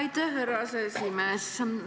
Aitäh, härra aseesimees!